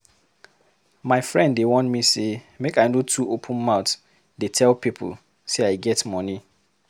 My friend dey warn me sey make I no dey too open mouth tell pipo sey I get money.